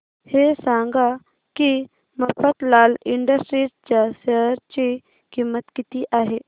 हे सांगा की मफतलाल इंडस्ट्रीज च्या शेअर ची किंमत किती आहे